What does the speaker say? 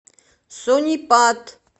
сонипат